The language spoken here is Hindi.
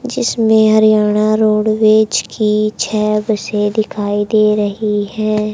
जिसमें हरियाना रोडवेज की छह बसें दिखाई दे रहीं हैं।